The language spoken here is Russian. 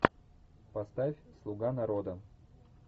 поставь слуга народа